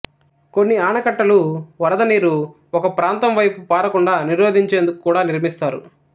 కొన్ని ఆనకట్టలు వరద నీరు ఒక ప్రాంతం వైపు పారకుండా నిరోధించేందుకు కూడా నిర్మిస్తారు